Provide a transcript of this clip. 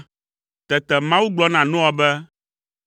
Tete Mawu gblɔ na Noa be,